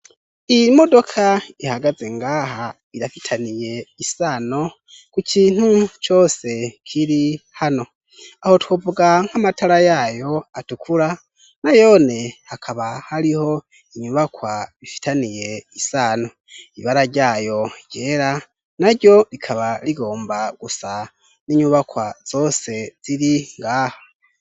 Iyi modoka ihagaze ngaha irafitaniye isano kukintu cose kiri hano. Aho twovuga nk'amatara yayo atukura nayone hakaba hariho inyubakwa ifitaniye isano, ibara ryayo ryera naro rikaba rigomba gusa n'inyubakwa zose ziri ngaha.